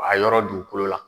A yɔrɔ dugukolo la